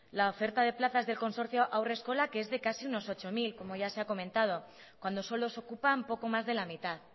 la oferta de plaza del consorcio haurreskolak es de casi unos ocho mil como ya se ha comentado cuando solo se ocupan poco más de la mitad